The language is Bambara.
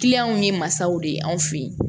w ye masaw de ye anw fɛ yen